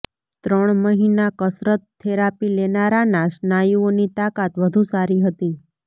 ત્રણ મહિના કસરત થેરાપી લેનારાના સ્નાયુઓની તાકાત વધુ સારી હતી